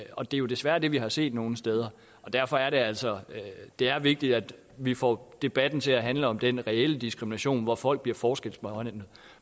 og det er jo desværre det vi har set nogle steder derfor er det altså vigtigt at vi får debatten til at handle om den reelle diskrimination hvor folk bliver forskelsbehandlet